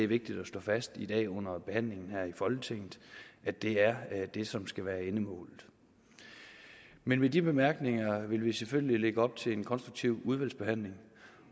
vigtigt at slå fast i dag under behandlingen her i folketinget det er det som skal være endemålet men med de bemærkninger vil vi selvfølgelig lægge op til en konstruktiv udvalgsbehandling